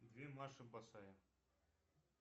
две маши босая